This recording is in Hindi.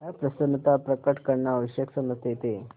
अप्रसन्नता प्रकट करना आवश्यक समझते थे